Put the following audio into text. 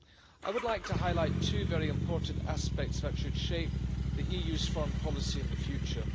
I would like to highlight two very important aspects that should shape the EU's foreign policy in the future.